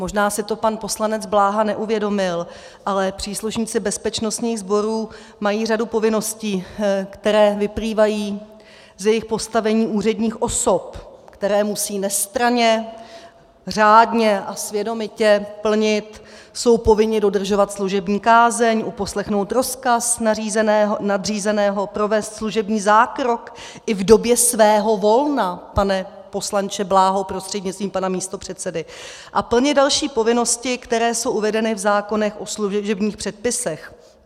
Možná si to pan poslanec Bláha neuvědomil, ale příslušníci bezpečnostních sborů mají řadu povinností, které vyplývají z jejich postavení úředních osob, které musí nestranně, řádně a svědomitě plnit, jsou povinni dodržovat služební kázeň, uposlechnout rozkaz nadřízeného, provést služební zákrok i v době svého volna, pane poslanče Bláho prostřednictvím pana místopředsedy, a plnit další povinnosti, které jsou uvedeny v zákonech o služebních předpisech.